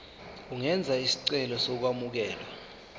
ungenza isicelo sokwamukelwa